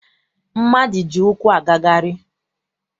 Mmadụ ji ụkwụ agagharị.